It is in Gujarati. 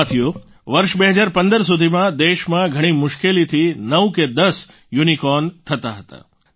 સાથીઓ વર્ષ 2015 સુધી દેશમાં ઘણી મુશ્કેલીથી 9 કે 10 યુનિકોર્ન થતા હતા